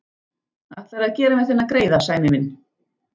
Ætlarðu að gera mér þennan greiða, Sæmi minn?